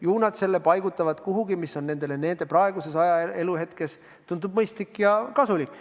Ju nad selle paigutavad kuhugi, mis nendele praeguses eluhetkes tundub mõistlik ja kasulik.